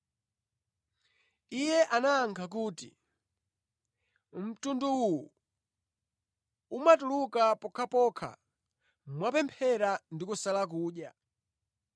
Iye anayankha kuti, “Mtundu uwu umatuluka pokhapokha mwapemphera ndi kusala kudya.”